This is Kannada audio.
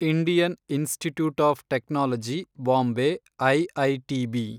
Indian Institute of Technology Bombay, IITB